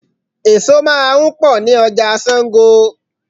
Èso máa ń pọ ni ọjà Sango.